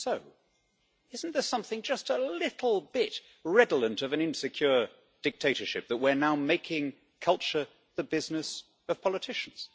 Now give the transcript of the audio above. Even so, isn't there something just a little bit redolent of an insecure dictatorship that we're now making culture the business of politicians?